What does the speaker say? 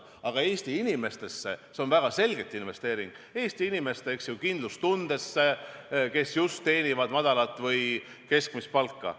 Aga see on väga selgelt investeering Eesti inimestesse, nende kindlustundesse, kes teenivad madalat või keskmist palka.